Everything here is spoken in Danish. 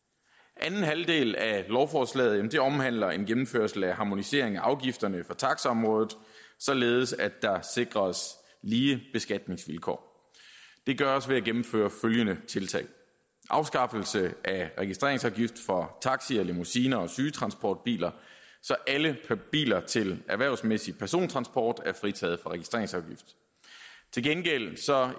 anden halvdel af lovforslaget omhandler en gennemførsel af harmonisering af afgifterne på taxiområdet således at der sikres lige beskatningsvilkår det gøres ved at gennemføre følgende tiltag afskaffelse af registreringsafgift for taxier limousiner og sygetransportbiler så alle biler til erhvervsmæssig persontransport er fritaget for registreringsafgift til gengæld